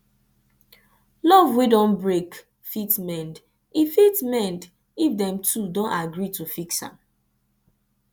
luv wey don brake fit mend if fit mend if dem two don agree to fix am